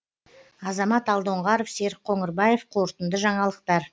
азамат алдоңғаров серік қоңырбаев қорытынды жаңалықтар